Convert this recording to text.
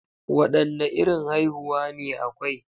Wadanne irin haihuwa ne akwai?